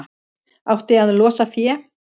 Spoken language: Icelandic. Átti að losa fé